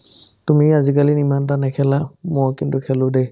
তুমি আজিকালিন ইমানটা নেখেলা মই কিন্তু খেলো দে